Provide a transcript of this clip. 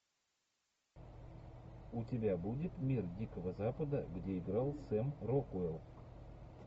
у тебя будет мир дикого запада где играл сэм рокуэлл